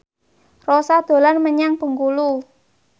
Rossa dolan menyang Bengkulu